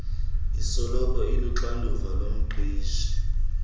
esoloko iluxanduva lomqeshi